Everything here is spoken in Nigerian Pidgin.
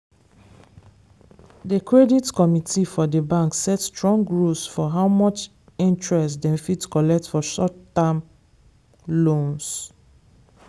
the credit committee for the bank set strong rules for how much interest dem fit collect for short time loans.